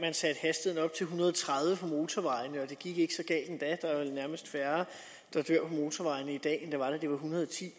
hundrede og tredive på motorvejene og det gik ikke så galt endda der er vel nærmest færre der dør på motorvejene i dag det var en hundrede og ti